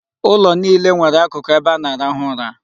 Ụlọ niile nwere akụkụ ebe a na-arahụ ụra.